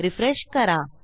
refresh करा